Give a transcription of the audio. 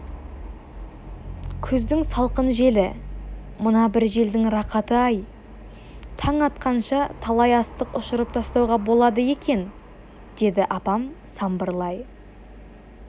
күздің салқын желі мына бір желдің рақаты-ай таң атқанша талай астық ұшырып тастауға болады екен деді апам самбырлай